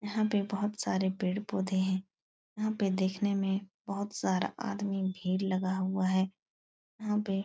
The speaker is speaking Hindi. यहाँ पे बहुत सारे पेड़ पौधे हैं। यहाँ पर देखने में बहुत सारा आदमी भीड़ लगा हुआ है। यहाँ पे --